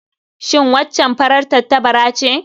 Shin waccan farar tattabara ce?